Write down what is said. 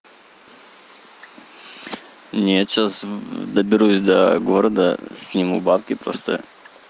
нет сейчас доберусь до города сниму деньги просто